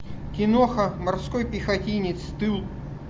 киноха морской пехотинец тыл